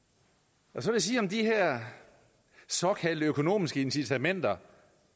så vil jeg sige om de her såkaldte økonomiske incitamenter